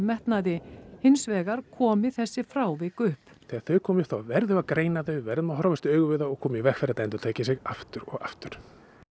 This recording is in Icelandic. metnaði hins vegar komi þessi frávik upp þegar þau koma upp þá verðum við að greina þau verðum að horfast í augu við þau og koma í veg fyrir að þetta endurtaki sig aftur og aftur